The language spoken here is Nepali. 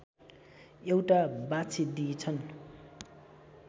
एउटा बाछी दिइछन्